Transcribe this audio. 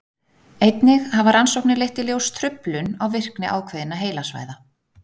Einnig hafa rannsóknir leitt í ljós truflun á virkni ákveðinna heilasvæða.